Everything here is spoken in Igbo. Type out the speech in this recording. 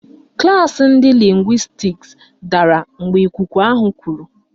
Klaasị ndị lịngwịstiks dara mgbe ikuku ahụ kuru.